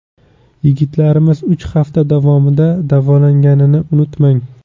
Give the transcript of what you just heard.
Yigitlarimiz uch hafta davomida davolanganini unutmang.